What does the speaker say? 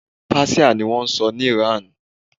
Páṣíà ni wọ́n sọ ní ìran.